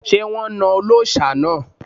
Ṣé wón na ọlọ́ṣà náà?